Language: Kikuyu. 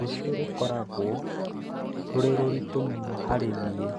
rũciũ rũgakorwo rũrĩ rũrĩtũ mũno harĩ nie